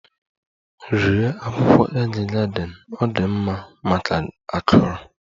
Rie akwukwo egg garden! Ọ dị mma maka akụrụ.